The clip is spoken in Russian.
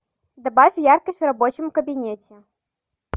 добавь яркость в рабочем кабинете